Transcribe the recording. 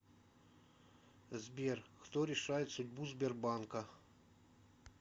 сбер кто решает судьбу сбербанка